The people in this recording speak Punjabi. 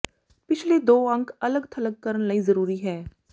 ਪਿਛਲੇ ਦੋ ਅੰਕ ਅਲੱਗ ਥਲੱਗ ਕਰਨ ਲਈ ਜ਼ਰੂਰੀ ਹੈ